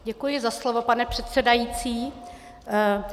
Děkuji za slovo, pane předsedající.